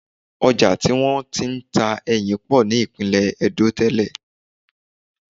Ojà tí wọ́n ti ń ta ẹyìn pọ̀ ní ìpínlẹ̀ ẹdó tẹ́lẹ̀